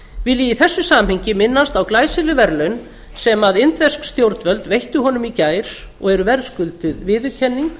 vil ég í þessu samhengi minnast á glæsileg verðlaun sem indversk stjórnvöld veittu honum í gær og eru verðskulduð viðurkenning